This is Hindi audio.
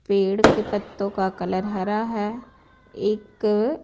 पेड़ के पत्तों क कलर हरा है एक---